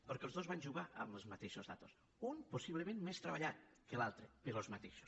perquè els dos van jugar amb les mateixes dades un possiblement més treballat que l’altre però les mateixes